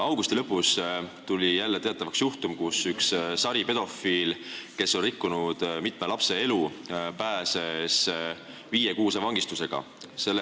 Augusti lõpus tuli jälle teatavaks juhtum, kus üks saripedofiil, kes on rikkunud mitme lapse elu, pääses viiekuulise vangistusega.